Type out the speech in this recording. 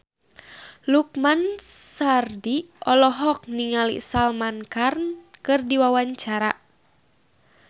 Lukman Sardi olohok ningali Salman Khan keur diwawancara